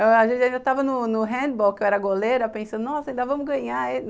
A gente já estava no no handball, que eu era goleira, pensando, nossa, ainda vamos ganhar.